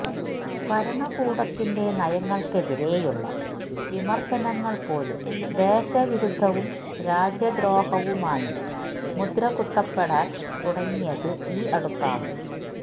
ഭരണകൂടത്തിന്റെ നയങ്ങള്ക്കെതിരേയുള്ള വിമര്ശനങ്ങള് പോലും ദേശവിരുദ്ധവും രാജ്യദ്രോഹവുമായി മുദ്രകുത്തപ്പെടാന് തുടങ്ങിയത് ഈ അടുത്താണ്